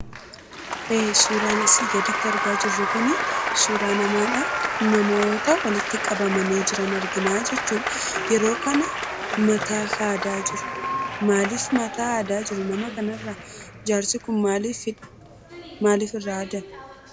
Suuraan asii gaditti argaa jirru kun suuraa namaadha. Namoota walitti qabamanii jiran argina jechuudha. Yeroo kana mataa haadaa jiru. Maaliif mataa haadaa jiru nama kanarraa? maaliif irraa haadame?